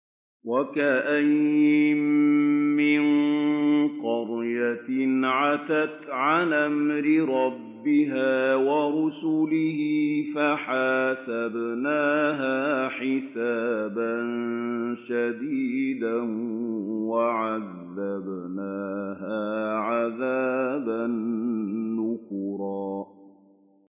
وَكَأَيِّن مِّن قَرْيَةٍ عَتَتْ عَنْ أَمْرِ رَبِّهَا وَرُسُلِهِ فَحَاسَبْنَاهَا حِسَابًا شَدِيدًا وَعَذَّبْنَاهَا عَذَابًا نُّكْرًا